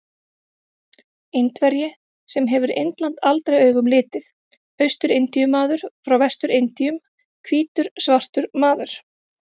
Indverji sem hefur Indland aldrei augum litið, Austur-Indíu-maður frá Vestur-Indíum, hvítur svartur maður.